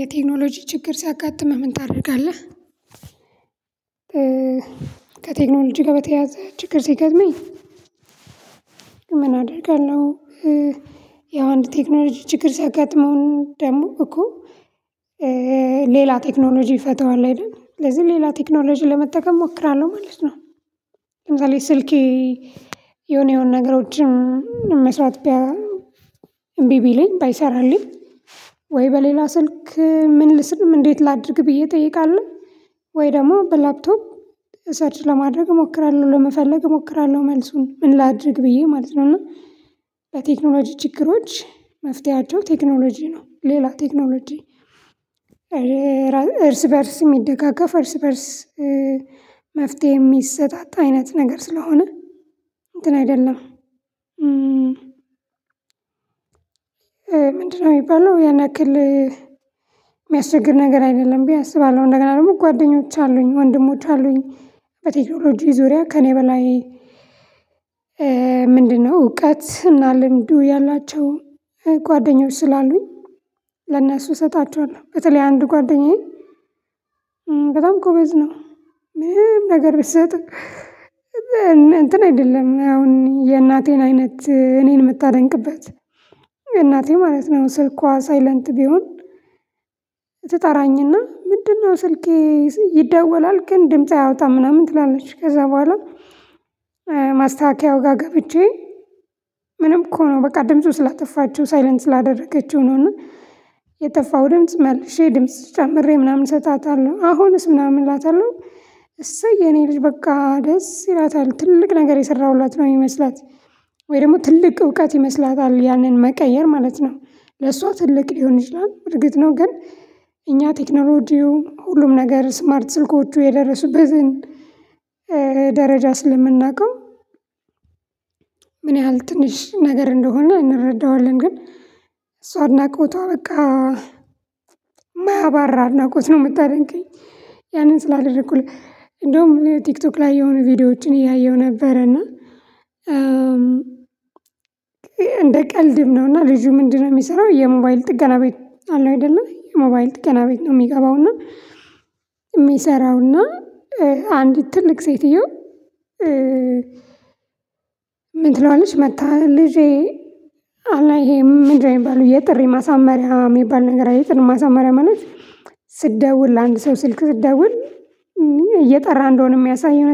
የቴክኖሎጂ ችግር ሲያጋጥምህ ምን ታደርጋለህ? ከቴክኖሎጂ ጋር በተያያዘ ችግር ሲገጥመኝ። ምን አደርጋለሁ ያው አንድ ቴክኖሎጂ ችግር ሳገጥመው ደግሞ እኮ። ሌላ ቴክኖሎጂ ይፈታዋል አይደል? ስለዚህ ሌላ ቴክኖሎጂ ለመጠቀም እሞክራለሁ ማለት ነው። ለምሳሌ ስልኬ የሆነ የሆነ ነገሮችን መስራት እቢ ቢለኝ ባይሰራልኝ ወይ በሌላ ስልክ ምን ልስል እንዴት ላድርግ ብዬ እጠይቃለሁ። ወይ ደግሞ በላፕቶፕ ሰርች ለማድረግ እሞክራለሁ ለመፈለግ እሞክራለሁ መልሱን ምን ላድርግ ብዬ ማለት ነው። እና በቴክኖሎጂ ችግሮች መፍትሄያቸው ቴክኖሎጂ ነው ሌላ ቴክኖሎጂ። እርስ በእርስ የሚደጋገፍ እርስ በእርስ መፍትሄ የሚሰጣጥ አይነት ነገር ስለሆነ እንትን አይደለም። ምንድነው? የሚባለው ያን ያክል ያንክል የሚያስቸግር ነገር አይደለም ብዬ አስባለሁ። እንደገና ደግሞ ጓደኞች አሉኝ ወንድሞች አሉኝ። በቴክኖሎጂ ዙሪያ ከእኔ በላይ ምንድነው እውቀት እና ልምዱ ያላቸው ጓደኞች ስላሉኝ። ለእነሱ እሰጣቸዋለሁ በተለይ አንድ ጓደኛዬ በጣም ጎበዝ ነው። ምንም ነገር ብትሰጥ እንትን አይደለም አሁን የእናቴን አይነት እኔን የምታደንቅበት የእናቴ ማለት ነው። ስልኳ ሳይለንት ቢሆን ትጠራኝ እና ምንድነው ስልኬ ይደወላል ግን ድምጽ አያወጣም ምናምን ትላለች ከዛ በኋላ። ማስተካከያው ጋር ገብቼ ምንም እኮ ነው በቃ ድምፁ ስላጠፋችው ሳይለንት ስላደረገችው ነው። የጠፋው ድምጽ መልሼ ድምጽ ጨምሬ ምናምን እሰጣታለሁ አሁንስ ምናምን እላታለሁ። እሰይ የኔ ልጅ በቃ ደስ ይላታል ትልቅ ነገር የሰራሁላት ነው የሚመስላት። ወይ ደግሞ ትልቅ እውቀት ይመስላታል ያንን መቀየር ማለት ነው ለሷ ትልቅ ሊሆን ይችላል እርግጥ ነው ግን። እኛ ቴክኖሎጂው ሁሉም ነገር ስማርት ስልኮቹ የደረሱበትን ደረጃ ስለምናውቀው ምን ያህል ትንሽ ነገር እንደሆነ እንረዳዋለን። ግን እሷ እድናቆቷ በቃ ማያባራ አድናቆት ነው የምታደንቀኝ። ያንን ስላልረኩኝ እንደውም ቲክቶክ ላይ የሆኑ ቪዲዮዎችን እያየው ነበረ እና። እንደ ቀልድም ነው። እና ልጁ ምንድነው የሚሰራው? የሞባይል ጥገና ቤት አለው አይደለ? የሞባይል ጥገና ቤት ነው የሚገባው እና። የሚሰራው እና አንዲት ትልቅ ሴቲዮ። ምን ትለዋለች? መጥታ ልጄ ይሄ ምንድነው የሚባለው? የጥሪ ማሳመሪያ የሚባል ነገር የጥሪ ማሳመሪያ ማለት ስትደውል ለአንድ ሰው ስልክ ስትደውል እየጠራ እንደሆነ የሚያሳይ የሆነ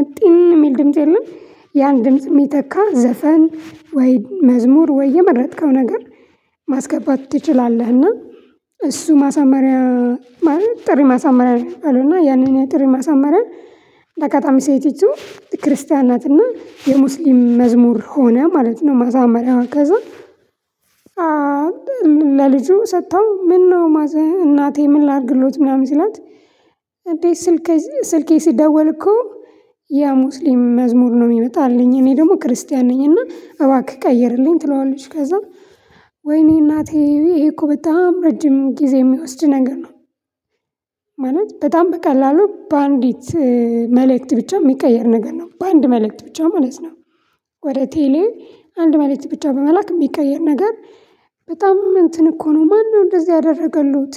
የሚል ድምጽ የለም። ያን ድምጽ የሚተካ ዘፈን ወይ መዝሙር ወይ የመረጥከው ነገር ማስገባት ትችላለህ። እና እሱ ማሳመሪያ ማለት ጥሪ ማሳመሪያ አሉና ያንን የጥሪ ማሳመሪያ። በአጋጣሚ ሴቲቱ ክርስቲያን ናትና የሙስሊም መዝሙር ሆነ ማለት ነው። ማሳመሪያዋ ከዛ ለልጁ ሰጥታው ምነው እናቴ ምን ላድርግሎት ምናምን ሲላት። እንዴ? ስልኬ ስልኬ ሲደወል እኮ ያ ሙስሊም መዝሙር ነው የሚመጣልኝ እኔ ደግሞ ክርስቲያን ነኝና እባክህ ቀየርልኝ ትለዋለች። ከዛ ወይኔ እናቴ ይሄ እኮ በጣም ረጅም ጊዜ የሚወስድ ነገር ነው። ማለት በጣም በቀላሉ በአንዲት መልእክት ብቻ የሚቀየር ነገር ነው በአንድ መልእክት ብቻ ማለት ነው። ወደ ቴሌ አንድ መልእክት ብቻ በመላክ የሚቀየር ነገር በጣም እንትን እኮ ነው ማነው እንደዚህ ያደረገሉት?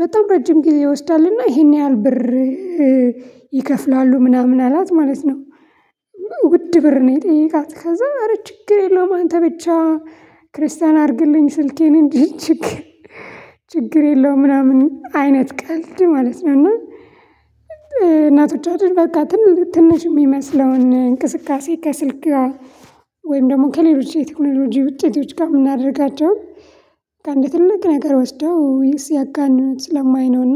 በጣም ረጅም ግን ይወስዳልና ይሄን ያህል ብር ይከፍላሉ ምናምን አላት ማለት ነው። ውድ ብር ነው የጠየቃት ከዛ አረ ችግር የለውም አንተ ብቻ ክርስቲያን አድርግልኝ ስልኬን እንጂ። ችግር የለውም ምናምን አይነት ቀልድ ማለት ነው። እና እናቶቻችን በቃ ትንሽ የሚመስለውን እንቅስቃሴ ከስልክ ወይም ደግሞ ከሌሎች የቴክኖሎጂ ውጤቶች ጋር የምናደርጋቸው በቃ እንደ ትልቅ ነገር ወስደው ሲያጋነኑት ስለማይ ነው እና።